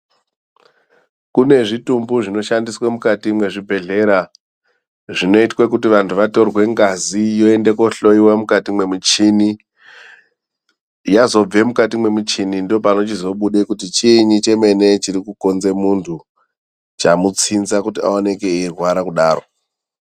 Kune zvitumbu zvinoshandiswa mukati mwezvibhedhlera zvinoite kuti antu atorwe ngazi yoende kohloyiwa mukati mwemuchini yozobve mukati mwemuchini ndopanobuda kuti chiinyi chinokonze muntu chamutsinza kuti aoneke eirwara kudaro.